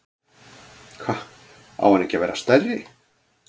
Hva, á hann ekki að vera stærri?